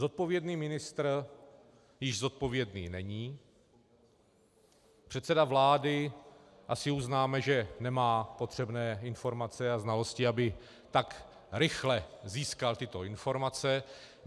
Zodpovědný ministr již zodpovědný není, předseda vlády, asi uznáme, že nemá potřebné informace a znalosti, aby tak rychle získal tyto informace.